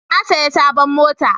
Na saya sabon mota